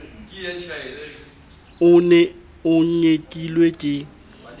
o ne o nyekilwe ke